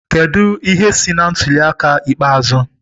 Kedu ihe si na ntuli aka ikpeazụ?